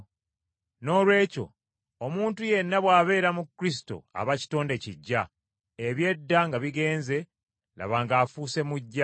Noolwekyo omuntu yenna bw’abeera mu Kristo, aba kitonde kiggya; eby’edda nga bigenze, laba ng’afuuse muggya.